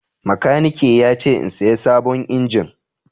Makaniki ya ce in saya sabon injin.